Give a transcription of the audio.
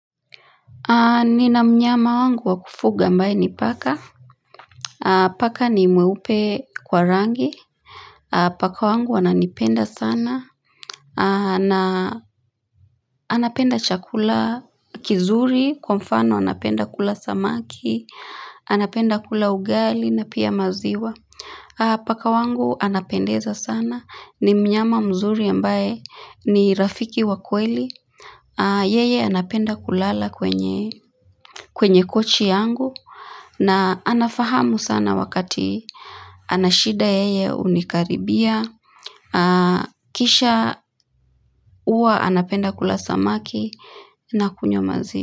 Nina mnyama wangu wakufuga ambaye ni paka Paka ni mweupe kwa rangi Paka wangu ananipenda sana Anapenda chakula kizuri, kwa mfano anapenda kula samaki, anapenda kula ugali na pia maziwa Paka wangu anapendeza sana, ni mnyama mzuri ambaye ni rafiki wakweli Yeye anapenda kulala kwenye kwenye kochi yangu na anafahamu sana wakati anashida yeye hunikaribia. Kisha uwa anapenda kula samaki na kunywa maziwa.